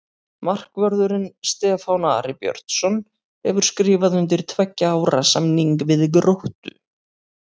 Markvörðurinn Stefán Ari Björnsson hefur skrifað undir tveggja ára samning við Gróttu.